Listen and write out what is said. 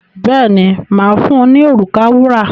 Bẹ́ẹ̀ni, mà á fun ní òrùka wúrà.